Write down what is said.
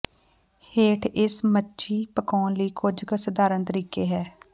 ਹੇਠ ਇਸ ਮੱਛੀ ਪਕਾਉਣ ਲਈ ਕੁਝ ਕੁ ਸਧਾਰਨ ਤਰੀਕੇ ਹੈ